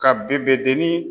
Ka deni